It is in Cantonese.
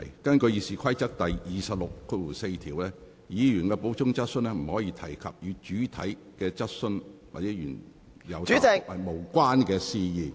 根據《議事規則》第264條，議員的補充質詢不得提出與原有質詢或原有答覆無關的事宜。